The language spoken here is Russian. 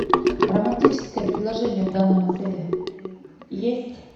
романтическое предложение в данном отеле есть